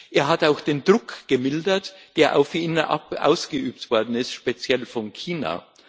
Er hat auch den Druck gemildert, der auf ihn ausgeübt worden ist, speziell von China.